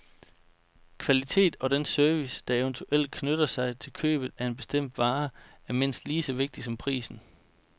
Kvalitet og den service, der eventuelt knytter sig til købet af en bestemt vare, er mindst lige så vigtig som prisen